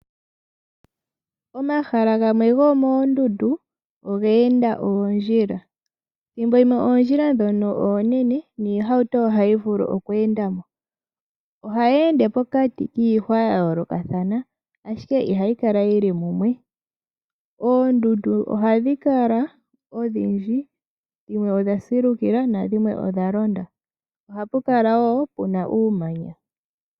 Omahala gamwe gomoondundu oga enda oondjila. Ethimbo limwe oondjila ndhono oonene niihauto ohayi vulu oku enda mo. Ohayi ende pokati kiihwa ya yoolokathana, ashike ihayi kala yi li mumwe. Oondundu ohadhi kala odhindji, dhimwe odha silukila nadhimwe odha londa. Ohapu kala wo pu na uumanya.